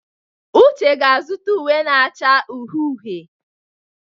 Uche ga-azụta uwe na-acha uhie uhie.